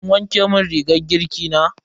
Kin wanke mun rigar girki na?